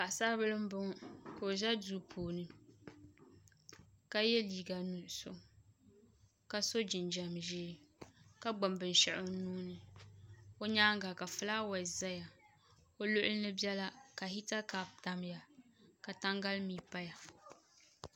Paɣasaribili n boŋo ka o ʒɛ duu puini ka yɛ liiga nuɣso ka so jinjɛm ʒiɛ ka gbubi binshaɣu o nuuni o nyaanga ka fulaawaasi biɛni o luɣuli ni biɛla ka hita kaap tamya ka tangali mii paya